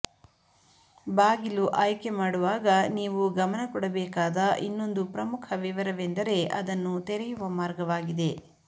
ಬಾಗಿಲು ಆಯ್ಕೆಮಾಡುವಾಗ ನೀವು ಗಮನ ಕೊಡಬೇಕಾದ ಇನ್ನೊಂದು ಪ್ರಮುಖ ವಿವರವೆಂದರೆ ಅದನ್ನು ತೆರೆಯುವ ಮಾರ್ಗವಾಗಿದೆ